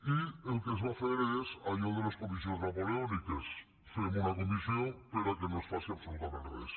i el que es va fer és allò de les comissions napoleòniques fem una comissió perquè no es faci absolutament res